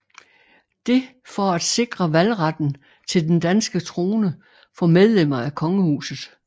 Det for at sikre valgretten til den danske trone for medlemmer af kongehuset